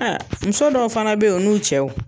Aa muso dɔw fana be ye u n'u cɛw